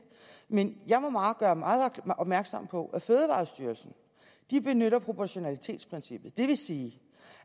men jeg må meget gøre opmærksom på at fødevarestyrelsen benytter proportionalitetsprincippet det vil sige